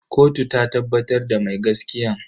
Kotu ta tabbatar da mai gaskiyan.